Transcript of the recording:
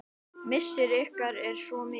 Missir ykkar er svo mikill.